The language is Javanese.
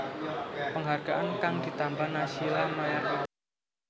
Penghargaan kang ditampa Naysila Mirdad